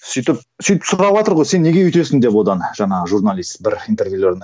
сөйтіп сөйтіп сұраватыр ғой сен неге өйтесің деп одан жаңағы журналист бір интервьюлерінен